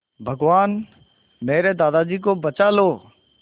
भगवान मेरे दादाजी को बचा लो